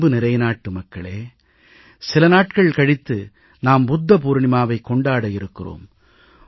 என் அன்புநிறை நாட்டுமக்களே சில நாட்கள் கழித்து நாம் புத்த பூர்ணிமாவை கொண்டாட இருக்கிறோம்